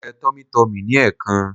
Mo jẹ Tummy tummy ní ẹ̀ẹ̀kan